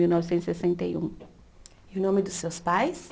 Mil novecentos e sessenta e um. E o nome dos seus pais?